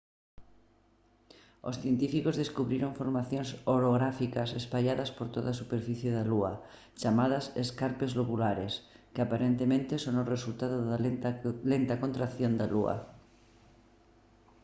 os científicos descubriron formacións orográficas espalladas por toda a superficie da lúa chamadas escarpes lobulares que aparentemente son o resultado da lenta contracción da lúa